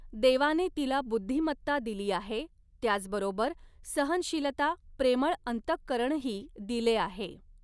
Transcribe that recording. देवाने तिला बुध्दीमत्ता दिली आहे, त्याच बरोबर सहनशिलता, प्रेमळ अंतकरणही दिले आहे.